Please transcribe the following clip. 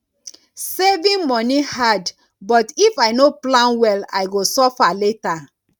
saving money hard but if i no plan well i go suffer later